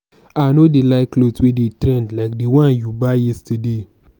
i no dey like cloth wey dey trend like the one you buy yesterday